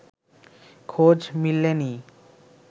খোঁজ মেলেনি